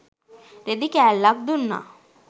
රෙදි කෑල්ලක් දුන්නා.